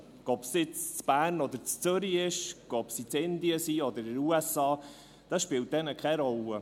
Ob sie jetzt in Bern oder Zürich ist, ob sie in Indien oder in den USA ist, das spielt ihnen keine Rolle.